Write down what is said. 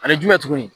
Ani jumɛn tuguni